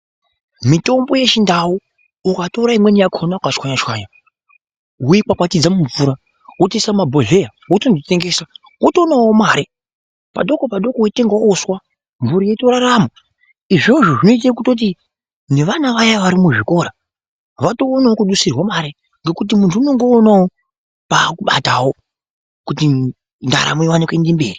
Mitombo yechindau ukatora imweni yakona ukachwanya chwanya woikwakwatidza mumvura wotoisa mumabhohleya wototengesa wotoonawo mare padoko padoko weitengawo uswa mhuri yeitorarama. Izvozvo zvinoita kuti nevana vaya vari kuzvikora. Vatoonawo kudusirwa mari ngekuti muntu unenge oonawo paakubatawo kuti ndaramo iwane kuenda mberi